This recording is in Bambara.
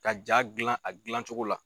Ka ja gilan a gilancogo la